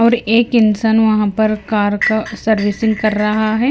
और एक इंसान वहां पर कार का सर्विसिंग कर रहा है।